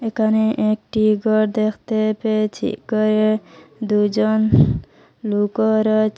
একানে একটি গর দেখতে পেয়েছি গরে দুইজন লুকও রয়েছে।